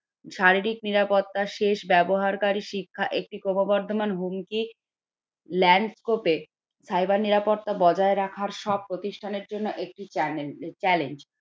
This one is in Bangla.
শারীরিক নিরাপত্তা, শেষ ব্যবহারকারী শিক্ষা একটি ক্রমবর্ধমান হুমকি, landscape এ cyber নিরাপত্তা বোজিয়াই রাখার সব প্রতিষ্ঠান এর জন্য একটি channel challange.